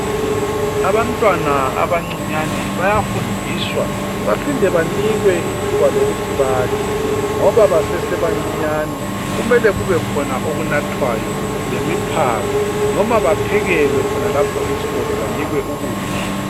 Abantwana abanciyane bayafundiswa baphinde banikwe ithuba lokuthi badle ,ngoba basesebancinyane kumele kube khona okunathwayo lemiphako noma baphekelwe khonapho esikolo banikwe ukudla.